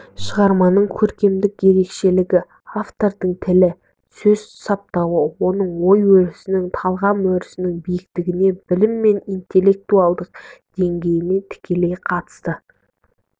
шығарманың көркемдік ерекшелігі автордың тілі сөз саптауы оның ой-өрісінің талғам өрісінің биіктігіне білім мен интеллектуалдық деңгейіне тікелей қатысты